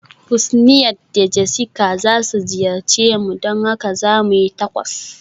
Husniat da Jessica za su ziyarce mu, don haka za mu yi Tacos.